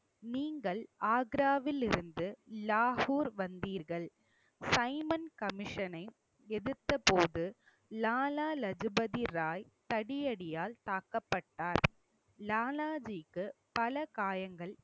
நீங்கள் ஆக்ராவில் இருந்து லாகூர் வந்தீர்கள் சைமன் கமிஷனை எதிர்த்த போது லாலா லஜபதி ராய் தடியடியால் தாக்கப்பட்டார். லாலாஜிக்கு பல காயங்கள்